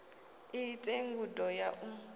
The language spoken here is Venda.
i ite ngudo ya u